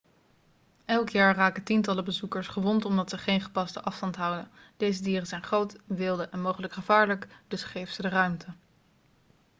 elk jaar raken tientallen bezoekers gewond omdat ze geen gepaste afstand houden deze dieren zijn groot wilde en mogelijk gevaarlijk dus geef ze de ruimte